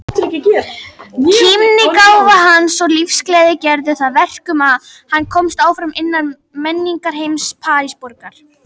Kímnigáfa hans og lífsgleði gerðu það verkum að hann komst áfram innan menningarheims Parísarborgar.